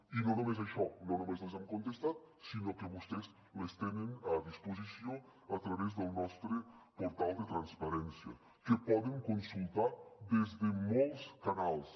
i no només això no només les hem contestat sinó que vostès les tenen a disposició a través del nostre portal de transparència que poden consultar des de molts canals